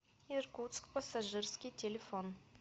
иркутск пассажирский телефон